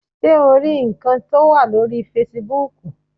Ṣé o rí ǹkan tó wà lórii fesibúùkù?